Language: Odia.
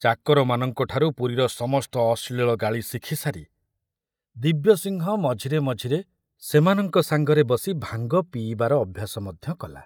ଚାକରମାନଙ୍କ ଠାରୁ ପୁରୀର ସମସ୍ତ ଅଶ୍ଳୀଳ ଗାଳି ଶିଖି ସାରି ଦିବ୍ୟସିଂହ ମଝିରେ ମଝିରେ ସେମାନଙ୍କ ସାଙ୍ଗରେ ବସି ଭାଙ୍ଗ ପିଇବାର ଅଭ୍ୟାସ ମଧ୍ୟ କଲା।